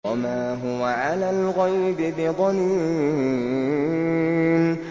وَمَا هُوَ عَلَى الْغَيْبِ بِضَنِينٍ